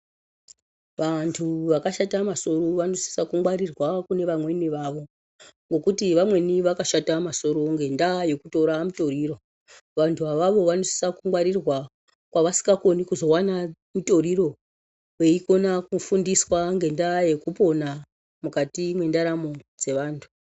Vantu vakashata masoro vanosiso kungwarirwa kune vamweni vavo nekuti vamweni vakashata masoro ngenda yekutora mutoriro vantu avavo vanosisa kungwarirwa kwasingakoni kuzowana mutoriro veikona kufundiswa ngenda yekupona mukati mwendaramo dzevantu.